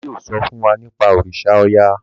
bàbá yóò so fún wá nipa òrìṣà oya.